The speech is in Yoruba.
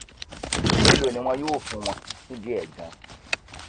èèló ni wọn yóò fún wọn nídìí ẹ ganan